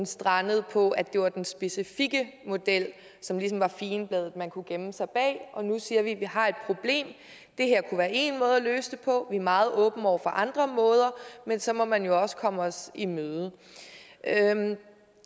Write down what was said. strandet på at det var den specifikke model som ligesom var figenbladet man kunne gemme sig bag nu siger vi at vi har et problem og det her kunne være én måde at løse det på men er meget åbne over for andre måder men så må man også komme os i møde